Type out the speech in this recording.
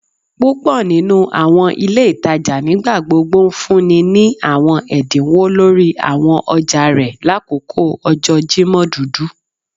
Púpò nínú àwọn ilé ìtajà nigbagbogbo ńfúnni ní àwọn ẹdínwó lórí àwọn ọjà rẹ lakoko ọjọ Jimọ dudu